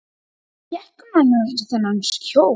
Hvar fékk hún annars þennan kjól?